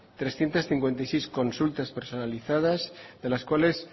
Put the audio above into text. trescientos cincuenta y seis consultas personalizadas de las cuales